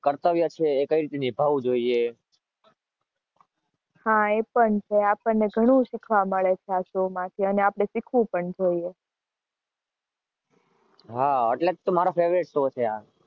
કર્તવ્ય છે એ કઈક નિભાવવું જોઈએ.